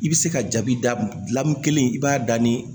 I bɛ se ka jaabi da mun gilan min kelen i b'a da ni